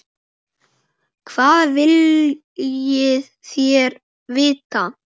Hvað viljið þér vita?